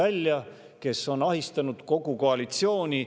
Nemad on ahistanud kogu koalitsiooni.